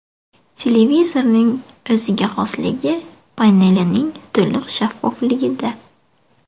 Televizorning o‘ziga xosligi panelining to‘liq shaffofligida.